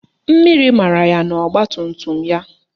Mmiri mara ya n'ogbatumtum ya